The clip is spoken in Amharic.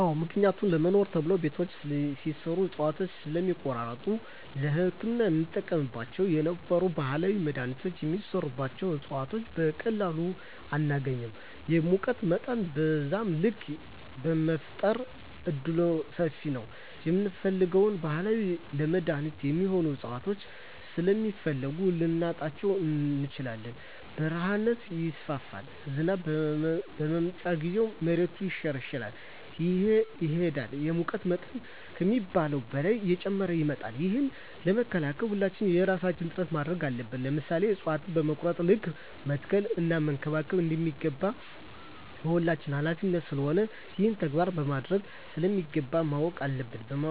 አዎ ምክንያቱም ለመኖሪያ ተብሎ ቤቶች ሲሰሩ እፅዋቶችን ስለሚቆርጧቸዉ ለህክምና የምንጠቀምባቸው የነበሩ ባህላዊ መድሀኒቶች የሚሰሩበት እፅዋት በቀላሉ አናገኝም የሙቀት መጠንም በዛዉ ልክ የመፈጠር እድሉምሰፊ ነዉ የምንፈልገዉን ባህላዊ ለመድኃኒትነት የሚሆኑ እፅዋቶችን ስለሚፈልሱ ልናጣቸዉ እንችላለን በረሀነት ይስፋፋል ዝናብ በመጣ ጊዜም መሬቱ እየተሸረሸረ ይሄዳል የሙቀት መጠን ከሚባለዉ በላይ እየጨመረ ይመጣል ይህንን ለመከላከል ሁላችንም የየራሳችን ጥረት ማድረግ አለብን ለምሳሌ እፅዋቶችን በቆረጥን ልክ መትከል እና መንከባከብ እንደሚገባ የሁላችንም ሀላፊነት ስለሆነ ይህንን ተግባራዊ ማድረግ እንደሚገባ ማወቅ አለብን